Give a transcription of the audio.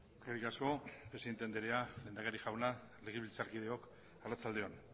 eskerrik asko presidente andrea lehendakari jauna legebiltzar kideok arratsalde on